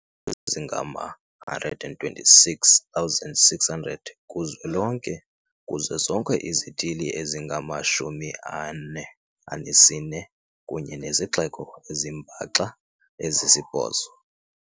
ezingama-126 600 kuzwelonke, kuzo zonke izithili ezingama-44 kunye nezixeko ezimbaxa ezisibhozo.